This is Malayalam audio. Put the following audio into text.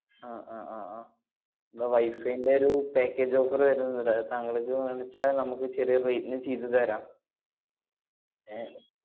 ആഹ് ആഹ് ആഹ് അഹ് ഇവിടെ wifi ന്‍റെ ഒരു package offer വരുന്നുണ്ട്. അത് താങ്കള്ക്ക് വേണംചാ നമ്മക്ക്‌ ചെറിയ rate ന് ചെയ്തുതരാം. ഏ~